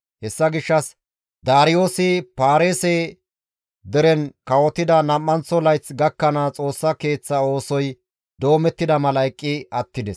Hessa gishshas Daariyoosi Paarise deren kawotida nam7anththo layth gakkanaas Xoossa Keeththa oosoy doomettida mala eqqi attides.